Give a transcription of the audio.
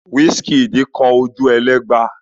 Wizkid kọ Ojuelegba?